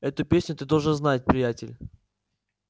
эту песню ты должен знать приятель